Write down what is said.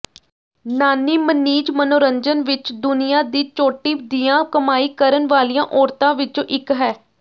ਨਾਨੀ ਮਣੀਜ ਮਨੋਰੰਜਨ ਵਿਚ ਦੁਨੀਆਂ ਦੀ ਚੋਟੀ ਦੀਆਂ ਕਮਾਈ ਕਰਨ ਵਾਲੀਆਂ ਔਰਤਾਂ ਵਿੱਚੋਂ ਇਕ ਹੈ